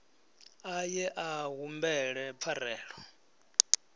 a ye a humbele pfarelo